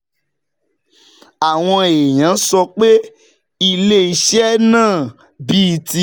Àwọn èèyàn sọ pé ilé iṣẹ́ náà, bíi ti